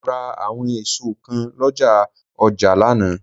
Mo rà àwọn èso kan l'ọ́ja òjé lánàá